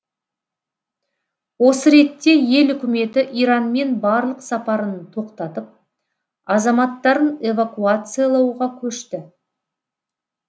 осы ретте ел үкіметі иранмен барлық сапарын тоқтатып азаматтарын эвакуациялауға көшті